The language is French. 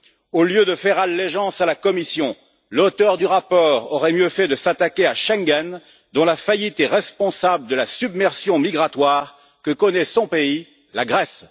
Au lieu de faire allégeance à la Commission, l'auteur du rapport aurait mieux fait de s'attaquer à Schengen, dont la faillite est responsable de la submersion migratoire que connaît son pays, la Grèce.